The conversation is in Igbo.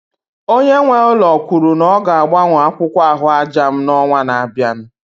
Onye nwe ụlọ kwuru na ọ ga-agbanwe akwụkwọ ahụaja m n'ọnwa na-abịa